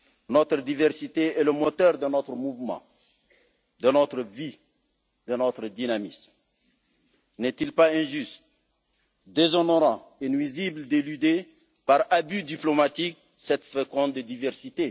Notre diversité est le moteur de notre mouvement, de notre vie, de notre dynamisme. N'est il pas injuste, déshonorant et nuisible d'éluder, par abus diplomatique, cette féconde diversité?